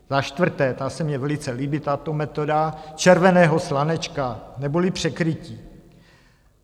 Za čtvrté - ta se mně velice líbí, tato metoda - červeného slanečka neboli překrytí.